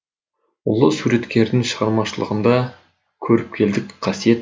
ұлы суреткердің шығармашылығында көріпкелдік қасиет бар